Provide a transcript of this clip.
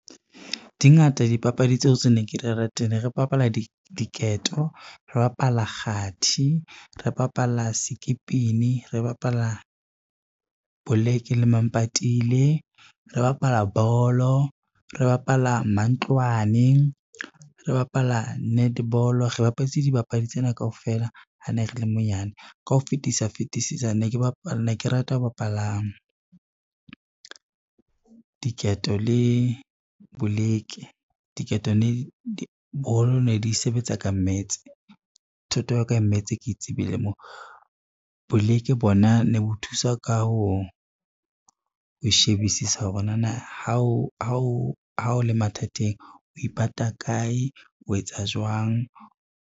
Di ngata dipapadi tseo tse ne ke di rata, ne re bapala diketo, re bapala kgathi, re bapala sekipini, re bapala boleke le mampatile, re bapala bolo, re bapala mantlwane, re bapala netball re bapaditse dibapadi tsena kaofela ha ne re le monyane. Ka ho fetisa fetisisa ne ke rata ho bapala diketo le boleke, diketo boholo ne di sebetsa ka maths, thuto ya o ka ya maths ke tsebile moo. Boleke bona ne bo thusa ka ho shebisisa hore nana ha o le mathateng o ipata kae, o etsa jwang.